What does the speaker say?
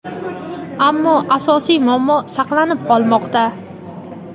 ammo asosiy muammo saqlanib qolmoqda.